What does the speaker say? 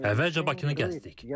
Əvvəlcə Bakını gəzdik.